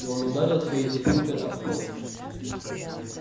и он ударил своей дубинкой об пол